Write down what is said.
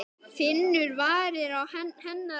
Finnur varir hennar á vanga.